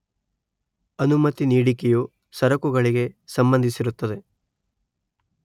ಅನುಮತಿ ನೀಡಿಕೆಯು ಸರಕುಗಳಿಗೆ ಸಂಭಂದಿಸಿರುತ್ತದೆ